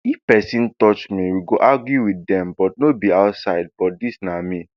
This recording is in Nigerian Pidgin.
if pesin touch me we go argue wit dem but no be outside but dis na me